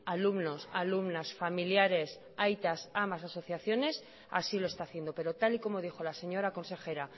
alumnos alumnas familiares aitas amas asociaciones así lo está haciendo pero tal y como dijo la señora consejera